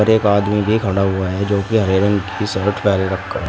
एक आदमी भी खड़ा हुआ है जोकि हरे रंग की शर्ट पहन रखा--